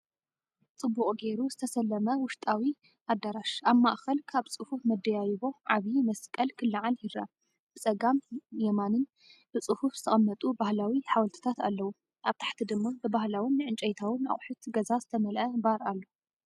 ጽቡቕ ጌሩ ዝተሰለመ ውሽጣዊ ኣዳራሽ። ኣብ ማእከል ካብ ጽፉፍ መደያይቦ ዓቢ መስቀል ክለዓል ይረአ፡ ብጸጋምን የማንን ብጽፉፍ ዝተቐመጡ ባህላዊ ሓወልትታት ኣለዉ። ኣብ ታሕቲ ድማ ብባህላውን ዕንጨይታውን ኣቑሑት ገዛ ዝተመልአ ባር ኣሎ።